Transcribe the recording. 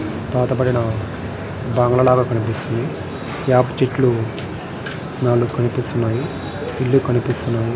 పాతబడిన బంగ్లాల కనిపిస్తుంది. వేప చెట్లు నాలుగు కనిపిస్తున్నాయి. ఇల్లు కనిపిస్తున్నది.